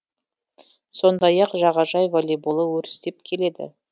сондай ақ жағажай волейболы өрістеп келеді